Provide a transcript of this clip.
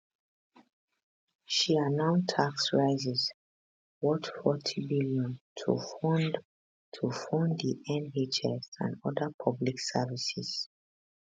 she announce tax rises worth 40bn to fund to fund di nhs and oda public services